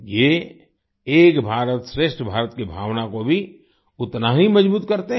ये एक भारतश्रेष्ठ भारत की भावना को भी उतना ही मजबूत करते हैं